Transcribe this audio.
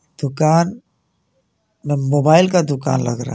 दुकान मोबाइल का दुकान लग रहा--